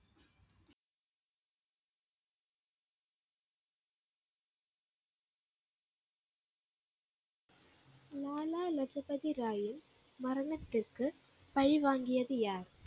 லாலா லஜபதி ராயின் மரணத்திற்கு பழி வாங்கியது யார்?